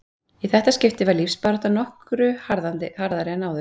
Í þetta skipti var lífsbaráttan nokkru harðari en áður.